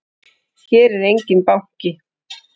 Hér er enginn banki!